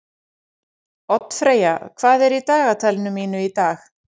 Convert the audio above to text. Oddfreyja, hvað er í dagatalinu mínu í dag?